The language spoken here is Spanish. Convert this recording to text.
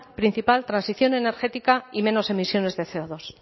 principal transición energética y menos emisiones de ce o dos